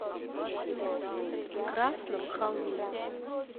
красном холме